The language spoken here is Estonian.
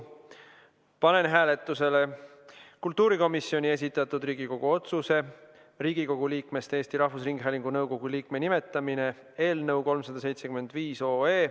Panen hääletusele kultuurikomisjoni esitatud Riigikogu otsuse "Riigikogu liikmest Eesti Rahvusringhäälingu nõukogu liikme nimetamine" eelnõu 375.